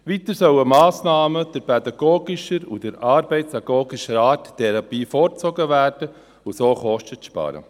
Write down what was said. Weiter sollen Massnahmen pädagogischer und arbeitsagogischer Art dieser Therapie vorgezogen werden, um so Kosten zu sparen.